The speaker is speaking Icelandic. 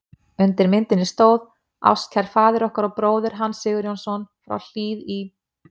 Undir myndinni stóð: Ástkær faðir okkar og bróðir, Hans Sigurjónsson frá Hlíð í